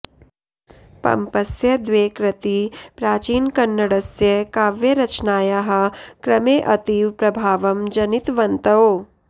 पम्पस्य द्वे कृती प्राचीनकन्नडस्य काव्यरचनायाः क्रमे अतिव प्रभावं जनितवन्तौ